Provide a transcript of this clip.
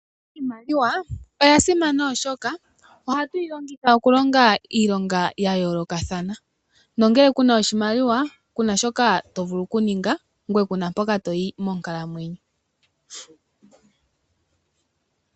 Iimaliwa oya simana oshoka oha tu yi longitha okulonga iilongo ya yoolokathana. Ngele ku na oshimaliwa ku na shoka to vulu oku ninga na ku na mpoka toyi monkalamwenyo.